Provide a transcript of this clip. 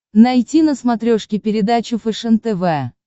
найти на смотрешке передачу фэшен тв